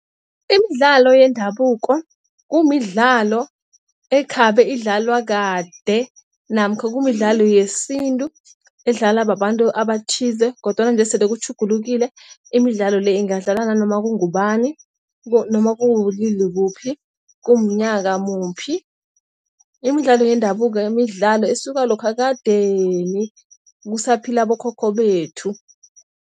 Imidlalo yendabuko kumidlalo ekhabe idlalwa kade namkha kumidlalo yesintu edlalwa babantu abathize kodwana nje sele kutjhugulukile imidlalo le ingadlalwa nanoma kungubani noma kubulili buphi, kumnyaka muphi. Imidlalo yendabuko imidlalo esuka lokha ekadeni kusaphila abokhokho bethu.